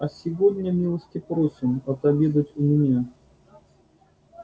а сегодня милости просим отобедать у меня